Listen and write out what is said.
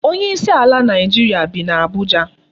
Onye isi ala Naịjirịa bi n'Abuja.